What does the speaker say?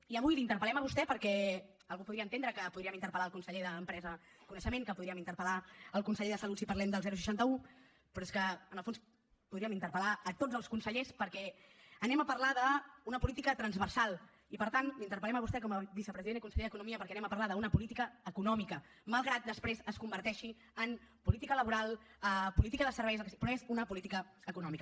i avui l’interpel·lem a vostè perquè algú podria entendre que podríem interpel·lar el conseller d’empresa i coneixement que podríem interpel·lar el conseller de salut si parlem del seixanta un però és que en el fons podríem interpel·lar tots els consellers perquè parlarem d’una política transversal i per tant l’interpel·lem a vostè com a vicepresident i conseller d’economia perquè parlarem d’una política econòmica malgrat que després es converteixi en política laboral política de serveis el que sigui però és una política econòmica